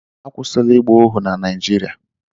Akwụsịla ịgba ohu na Naịjirịa